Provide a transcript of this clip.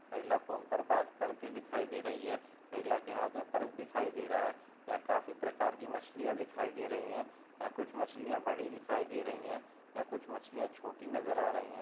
महिला फोन पर बात करते हुए दिखाई दे रही है महिला के हाथ मे पर्स दिखाई दे रहा है यहाँ काफी प्रकार की मछलियाँ दिखाई दे रही है यहाँ कुछ मछलियाँ बड़ी दिखाई दे रही है यहाँ कुछ मछलियाँ छोटी नजर आ रही है।